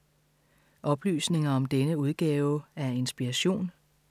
Oplysninger om denne udgave af Inspiration